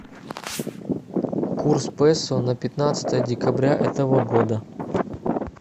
курс песо на пятнадцатое декабря этого года